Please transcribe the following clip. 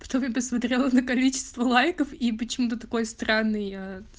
что ты посмотрела на количество лайков и почему ты такой странный э